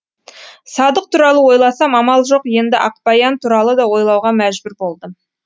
садық туралы ойласам амал жоқ енді ақбаян туралы да ойлауға мәжбүр болдым